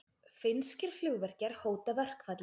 Finnskir flugvirkjar hóta verkfalli